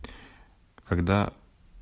когда